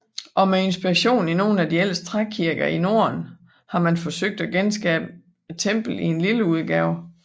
Og med inspiration i nogle af de ældste trækirker i norden har man forsøgt at genskabe templet i lille udgave